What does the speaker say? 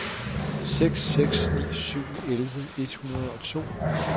seks seks ni syv elleve et hundrede og to